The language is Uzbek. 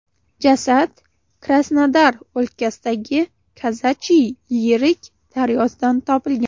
Jasad Krasnodar o‘lkasidagi Kazachiy Yerik daryosidan topilgan.